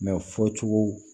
fɔcogo